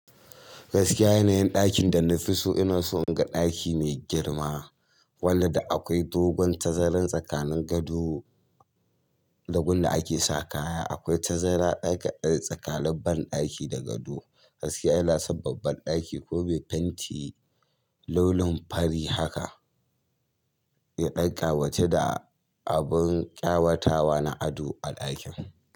Gaskiya yanayin ɗakin da na fi so ina so in ga ɗaki mai girma, wanda da akwai dogon tazara tsakanin gado, da gun da ake sa kaya. Akwai tazara tsakanin banɗaki da gado. Gaskiya ina son babban ɗaki ko mai fenti launin fari haka, ya ɗan ƙawatu da abun ƙawatawa na ado a ɗakin.